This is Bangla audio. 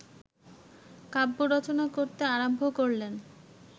কাব্য রচনা করতে আরম্ভ করলেন